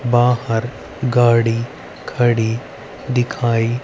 बाहर गाड़ी खड़ी दिखाई--